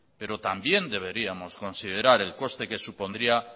pero también deberíamos considerar el coste que supondría